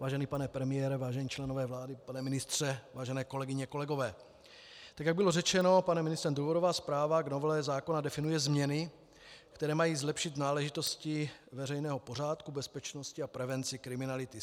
Vážený pane premiére, vážení členové vlády, pane ministře, vážené kolegyně, kolegové, tak jak bylo řečeno panem ministrem, důvodová zpráva k novele zákona definuje změny, které mají zlepšit náležitosti veřejného pořádku, bezpečnosti a prevenci kriminality.